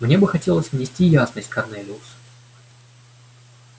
мне бы хотелось внести ясность корнелиус